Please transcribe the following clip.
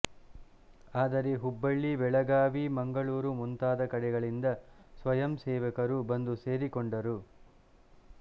ಆದರೆ ಹುಬ್ಬಳ್ಳಿ ಬೆಳಗಾಂವಿ ಮಂಗಳೂರು ಮುಂತಾದ ಕಡೆಗಳಿಂದ ಸ್ವಯಂಸೇವಕರು ಬಂದು ಸೇರಿಕೊಂಡರು